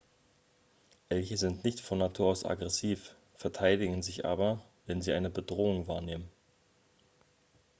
elche sind nicht von natur aus aggressiv verteidigen sich aber wenn sie eine bedrohung wahrnehmen